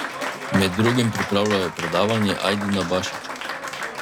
Med drugim pripravljajo predavanje Ajdina Bašića.